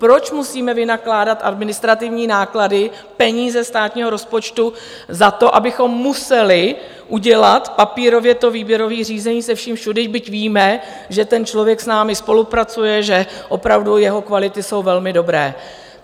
Proč musíme vynakládat administrativní náklady, peníze státního rozpočtu, za to, abychom museli udělat papírově to výběrové řízení se vším všudy, byť víme, že ten člověk s námi spolupracuje, že opravdu jeho kvality jsou velmi dobré?